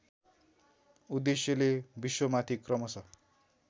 उद्देश्यले विश्वमाथि क्रमशः